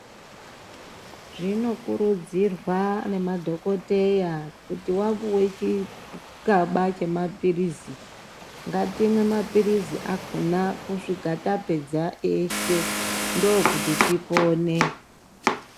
Zvinokurudzirwa nemadhokoteya kuti wapuwe chikaba chemaphirizi, ngatimwe maphirizi akhona kusvika tapedza eshe, ndokuti tipone.